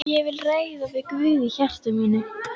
Ég vil ræða við Guð í hjarta mínu.